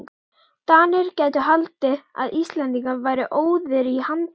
DANIR gætu haldið að Íslendingar væru óðir í handrit.